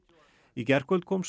í gærkvöld kom